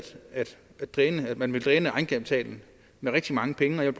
at man vil dræne egenkapitalen med rigtig mange penge jeg